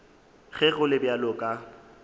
ge go le bjalo ka